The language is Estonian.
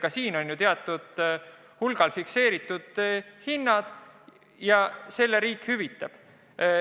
Ka haigekassas on ju teatud määral fikseeritud hinnad ja riik selle hüvitab.